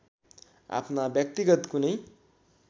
आफ्ना व्यक्तिगत कुनै